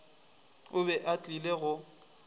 o be a tlile go